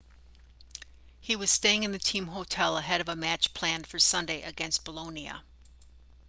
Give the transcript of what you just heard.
he was staying in the team hotel ahead of a match planned for sunday against bolonia